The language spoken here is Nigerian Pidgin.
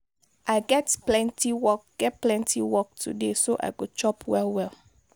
i get plenty work get plenty work today so i go chop well-well.